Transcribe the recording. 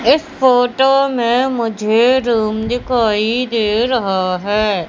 इस फोटो में मुझे रूम दिखाई दे रहा है।